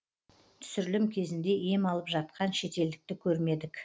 түсірілім кезінде ем алып жатқан шетелдікті көрмедік